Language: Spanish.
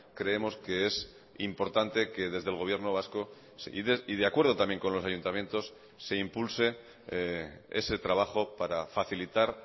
creemos que es importante que desde el gobierno vasco y de acuerdo también con los ayuntamientos se impulse ese trabajo para facilitar